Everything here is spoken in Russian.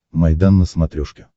майдан на смотрешке